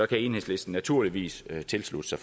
kan enhedslisten naturligvis tilslutte